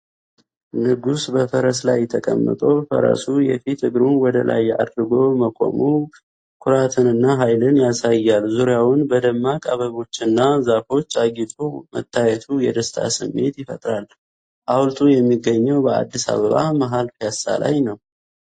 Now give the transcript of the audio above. ንጉሥ በፈረስ ላይ ተቀምጦ፤ ፈረሱ የፊት እግሩን ወደ ላይ አድርጎ መቆሙ ኩራትንና ሀይልን ያሳያል:: ዙሪያውን በደማቅ አበባዎችና ዛፎች አጊጦ መታየቱ የደስታ ስሜት ይፈጥራል:: ሀውልቱ የሚገኘው በአዲስ አባባ መሀል ፒያሳ ላይ ነው።